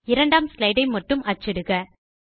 2ஆம் ஸ்லைடு ஐ மட்டும் அச்சிடுக